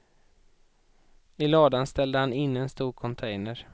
I ladan ställde han in en stor container.